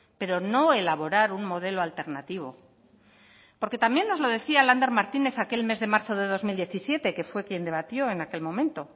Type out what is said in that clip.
pero no elaborar un modelo alternativo porque también nos lo decía lander martínez aquel mes de marzo de dos mil diecisiete que fue quién debatió en aquel momento